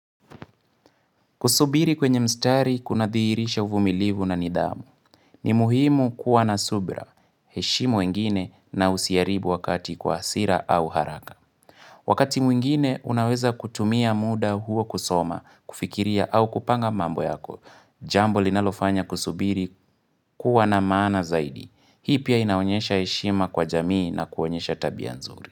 Kusubiri kwenye mstari kunadhihirisha uvumilivu na nidhamu. Ni muhimu kuwa na subira. Heshimu wengine na usiharibu wakati kwa hasira au haraka. Wakati mwingine unaweza kutumia muda huo kusoma, kufikiria au kupanga mambo yako. Jambo linalofanya kusubiri kuwa na maana zaidi. Hii pia inaonyesha heshima kwa jamii na kuonyesha tabia nzuri.